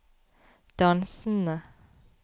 dansende